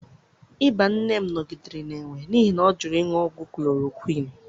ịba nne m nọgidere na-enwe n'ihi na ọ jụrụ ịṅụ ọgwụ chloroquine.